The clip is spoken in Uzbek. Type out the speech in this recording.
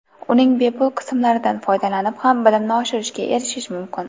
Uning bepul qismlaridan foydalanib ham bilimni oshirishga erishish mumkin.